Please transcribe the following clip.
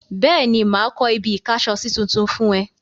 Bẹ́ẹ̀ni, mà á kọ́ ibi-ìkásọsí tuntun fún ẹ.